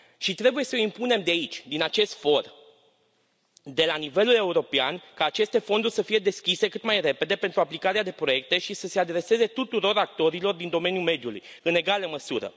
Și trebuie să impunem de aici, din acest for, de la nivelul european, ca aceste fonduri să fie deschise cât mai repede pentru aplicarea de proiecte și să se adreseze tuturor actorilor din domeniul mediului, în egală măsură.